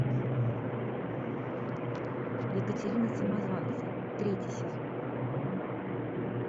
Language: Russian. екатерина самозванцы третий сезон